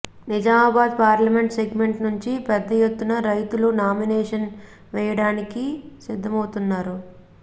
Nizamabad parliament segment నుంచి పెద్ద ఎత్తున రైతులు నామినేషన్ వేయడానికి సిద్ధమౌతున్నారు